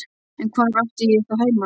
En hvar átti ég þá heima?